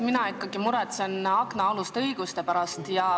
Mina ikkagi muretsen aknaaluste õiguste pärast.